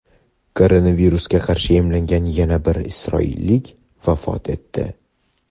Koronavirusga qarshi emlangan yana bir isroillik vafot etdi.